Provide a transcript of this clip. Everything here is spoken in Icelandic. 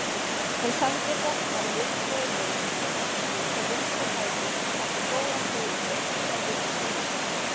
Hún sendi boltann viðstöðulaust í markið með vinstri fæti eftir góða fyrirgjöf frá vinstri.